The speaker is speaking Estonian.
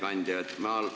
Hea ettekandja!